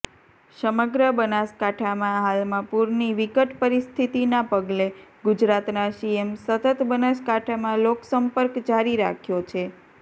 સમગ્ર બનાસકાંઠામાં હાલમાં પૂરની વિકટ પરિસ્થિતિના પગલે ગુજરાતના સીએમ સતત બનાસકાંઠામાં લોકસંપર્ક જારી રાખ્યો છે